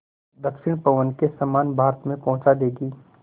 दक्षिण पवन के समान भारत में पहुँचा देंगी